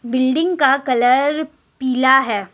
Building का colour पीला है।